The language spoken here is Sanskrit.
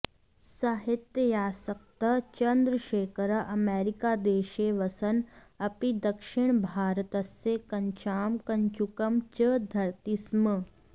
साहित्यासक्तः चन्द्रशेखरः अमेरिकादेशे वसन् अपि दक्षिणभारतस्य कच्छां कञ्चुकं च धरति स्म